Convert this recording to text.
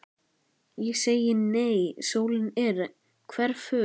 Ég segi nei, sólin er hverful.